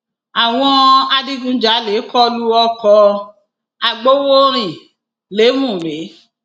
àwọn adigunjalè kọ lu ọkọ agbowórin lèmùrè